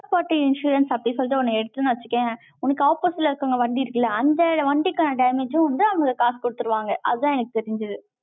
third party insurance அப்படின்னு சொல்லிட்டு, ஒண்ணு எடுத்தேன்னு வச்சுக்கயேன், உனக்கு opposite ல இருக்கவங்க வண்டி இருக்குல்ல, அந்த வண்டிக்கான damage ம் வந்து, அவங்க காசு கொடுத்துருவாங்க. அதான் எனக்கு தெரிஞ்சுது.